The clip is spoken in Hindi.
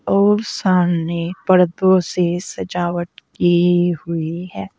और सामने परतों से सजावट की हुई है।